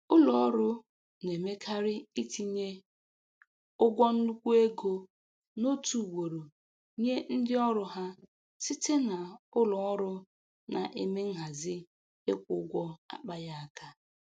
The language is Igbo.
Ụlọ ọrụ na-emekarị itinye ụgwọ nnukwu ego n'otu ugboro nye ndị ọrụ ha site na ụlọ ọrụ na-eme nhazi ịkwụ ụgwọ akpaghị aka.